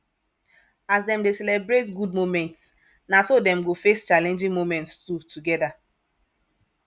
as them de celebrate good moments na so dem go face challenging moments too together